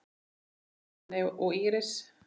Magnús, Fanney og Íris.